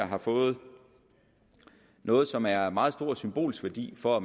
har fået noget som er af meget stor symbolsk værdi for at